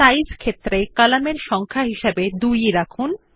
size শিরোনাম এর column এর সংখ্যা হিসাবে 2 রাখুন